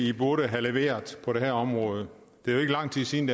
i burde have leveret på det her område det er jo ikke lang tid siden